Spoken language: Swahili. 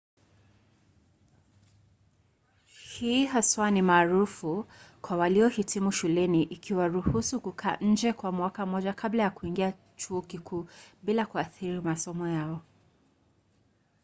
hii haswa ni maarufu kwa waliohitimu shuleni ikiwaruhusu kukaa nje kwa mwaka mmoja kabla ya kuingia chuo kikuu bila kuathiri masomo yao